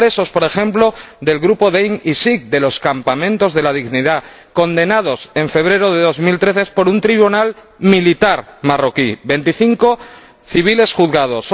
Por ejemplo, los presos del grupo de Gdeim Izik —de los Campamentos de la Dignidad—, condenados, en febrero de 2013, por un tribunal militar marroquí veinticinco civiles juzgados